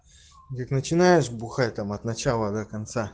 начинаешь бухать там от начала до конца